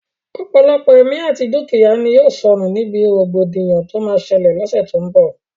Ọ̀pọ̀lọpọ̀ ẹ̀mí àti dúkìyá ni yóò sọnù níbi rògbòdìyàn tó máa ṣẹlẹ̀ l'ọ́ṣẹ́ tó n bọ̀